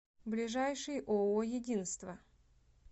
ближайший ооо единство